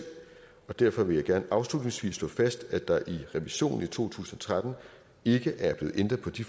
derfor vil jeg gerne afslutningsvis slå fast at der i revisionen i to tusind og tretten ikke er blevet ændret på de